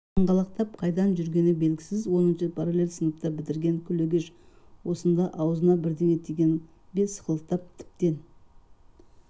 қаңғалақтап қайдан жүрген белгісіз оныншыны параллель сыныпта бітірген күлегеш осында аузына бірдеңе тиген бе сықылықтап тіптен